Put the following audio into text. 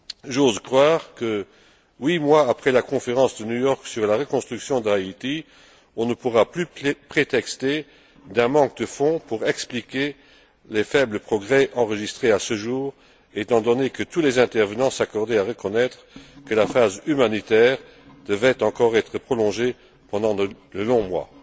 J'ose croire que huit mois après la conférence de New York sur la reconstruction d'Haïti, on ne pourra plus prétexter d'un manque de fonds pour expliquer les faibles progrès enregistrés à ce jour, étant donné que tous les intervenants s'accordaient à reconnaître que la phase humanitaire devait encore être prolongée pendant de longs mois.